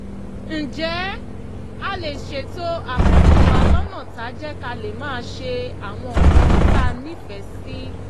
ǹjẹ́ a lè ṣètò àkókò wa lọ́nà táá jẹ́ ká lè máa ṣe àwọn nǹkan tá a nífẹ̀ẹ́ sí?